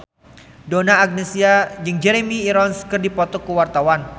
Donna Agnesia jeung Jeremy Irons keur dipoto ku wartawan